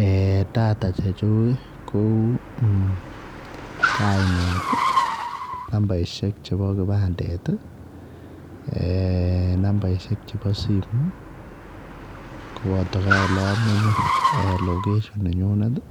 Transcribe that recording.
Eeh data chechuuk ii kouu kaibet ii nambarisheek chebo kipandet ii numbaishek chebo simoit ii ,kobataa kora ola menyei [location] nenyinet ii